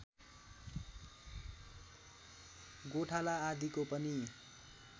गोठाला आदिको पनि